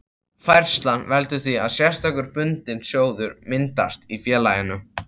Færslan veldur því að sérstakur bundinn sjóður myndast í félaginu.